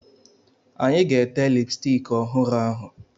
Anyị ga-ete lipstiki ọhụrụ ahụ.